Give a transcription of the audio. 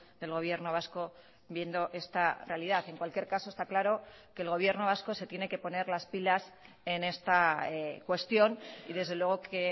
del gobierno vasco viendo esta realidad en cualquier caso está claro que el gobierno vasco se tiene que poner las pilas en esta cuestión y desde luego que